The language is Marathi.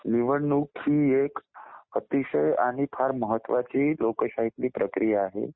निवडणूक ही एक अतिशय आणि फार महत्वाची लोकशाही मधील प्रक्रिया आहे.